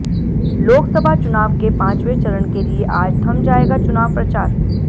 लोकसभा चुनाव के पांचवे चरण के लिए आज थम जाएगा चुनाव प्रचार